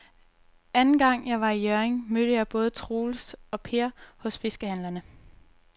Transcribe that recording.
Anden gang jeg var i Hjørring, mødte jeg både Troels og Per hos fiskehandlerne.